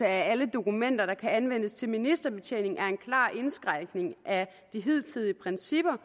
af alle dokumenter der kan anvendes til ministerbetjening er en klar indskrænkning af de hidtidige principper